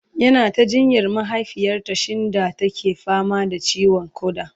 yana ta jinyar mahaifiyarta shinda take fama da ciwon koda